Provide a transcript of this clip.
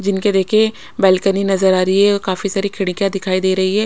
जिनके देखिये बालकनी नजर आ रही है और काफी सारी खिडकिया दिखाई दे रही है।